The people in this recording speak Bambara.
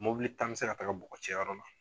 Mobili tan bɛ se ka taga bɔgɔ cɛ yɔrɔ la.